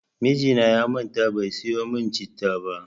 Mijina ya manta bai sayo min citta ba.